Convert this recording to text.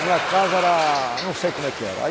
Minha casa era, não sei como é que era. Aí